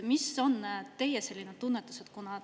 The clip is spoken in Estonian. Mis on teie tunnetus?